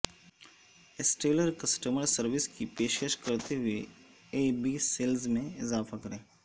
stellar customer service کی پیشکش کرتے ہوئے ای بی سیلز میں اضافہ کریں